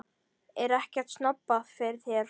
Er ekkert snobbað fyrir þér?